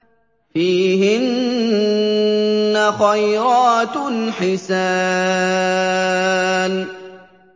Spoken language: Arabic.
فِيهِنَّ خَيْرَاتٌ حِسَانٌ